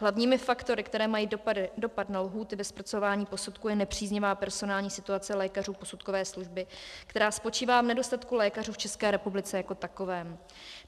Hlavními faktory, které mají dopad na lhůty ve zpracování posudků, je nepříznivá personální situace lékařů posudkové služby, která spočívá v nedostatku lékařů v České republice jako takové.